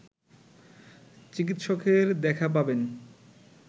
চিকিৎসকের দেখা পাবেন